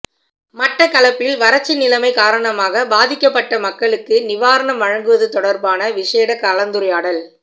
மட்டக்களப்பில் வரட்சி நிலமை காரணமாகப் பாதிக்கப்பட்ட மக்களுக்கு நிவாரணம் வழங்குவது தொடர்பான விசேட கலந்துரையாடல்